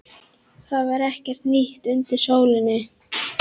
Það var ekkert nýtt undir sólinni.